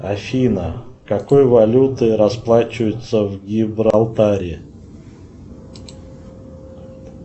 афина какой валютой расплачиваются в гибралтаре